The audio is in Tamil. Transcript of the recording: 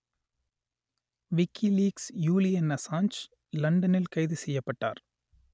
விக்கிலீக்ஸ் யூலியன் அசான்ச் லண்டனில் கைது செய்யப்பட்டார்